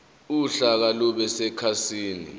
uhlaka lube sekhasini